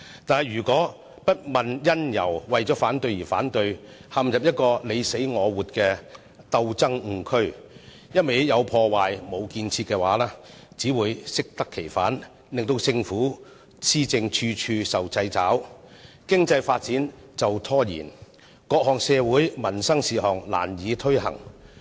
但如果不問因由，為反對而反對，陷入"你死我活"的鬥爭誤區，"有破壞，無建設"，只會適得其反，令政府施政處處受掣肘，經濟發展被拖延，各項社會民生事項難以推行。